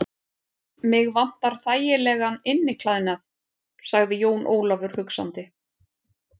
Mig vantar þægilegan inniklæðnað, sagði Jón Ólafur hugsandi.